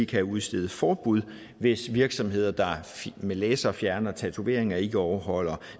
kan udstede forbud hvis virksomheder der med laser fjerner tatoveringer ikke overholder